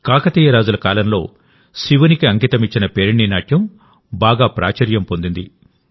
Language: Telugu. కాకతీయ రాజుల కాలంలో శివునికి అంకితమిచ్చిన పేరిణి నాట్యం బాగా ప్రాచుర్యం పొందింది